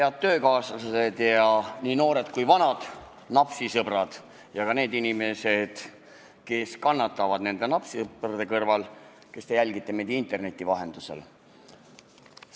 Head töökaaslased ja nii noored kui vanad napsisõbrad ja ka need inimesed, kes kannatavad nende napsisõprade kõrval, kes te jälgite meid interneti vahendusel!